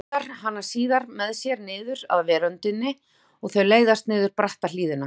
Hann togar hana síðan með sér niður af veröndinni og þau leiðast niður bratta hlíðina.